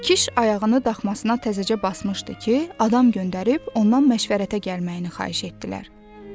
Kişi ayağını daxmasına təzəcə basmışdı ki, adam göndərib ondan məşvərətə gəlməyini xahiş etdilər.